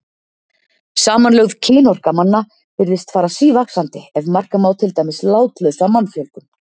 Samanlögð kynorka manna virðist fara sívaxandi ef marka má til dæmis látlausa mannfjölgun.